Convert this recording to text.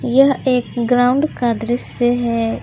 यह एक ग्राउंड का दृश्य है इस--